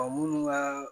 Ɔ munnu ka